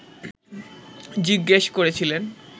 জিজ্ঞেস করেছিলেন